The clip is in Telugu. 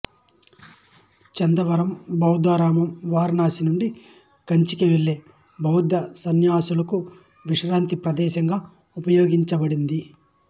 చందవరం బౌద్ధారామం వారణాశి నుండి కంచి వెళ్ళే బౌద్ధసన్యాసులకు విశ్రాంతి ప్రదేశంగా ఉపయోగించబడింది